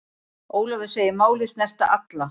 Ólafur segir málið snerta alla.